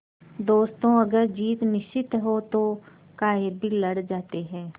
दोस्तों अगर जीत निश्चित हो तो कायर भी लड़ जाते हैं